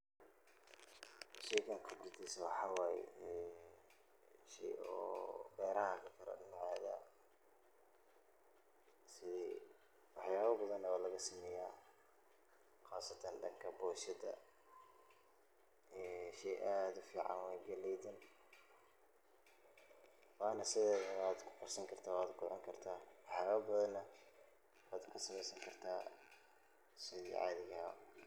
Sheygan khibradisa waxaa waye shey oo beraha lagakeno. waxya ba badhan na walagasameyaah qasatan boshada. ged ad ufican waye galeydan oo na sidedana wadkukarsan kartah wana kucuni kartah, waxyaba badhan na wad kasameysan kartah.